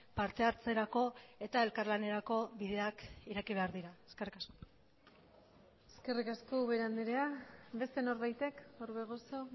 parte hartzerako eta elkarlanerako bideak ireki behar dira eskerrik asko eskerrik asko ubera andrea beste norbaitek orbegozo